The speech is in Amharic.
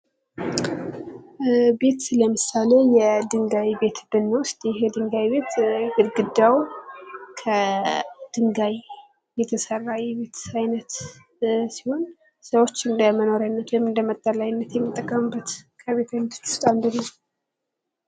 ቤት ለምሳሌ የድንጋይ ቤት ብንወስድ ይሄ የድንጋይ ቤት ግርግዳዉ ከድንጋይ የተሰራ የቤት አይነት ሲሆን ሰዎች ለመኖሪያነት ወይም ለመጠለያነት የሚጠቀሙት ከቤቶች ዉስጥ አንዱ ነዉ።